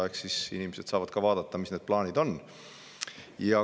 Eks siis inimesed saavad vaadata, mis plaanid neil on.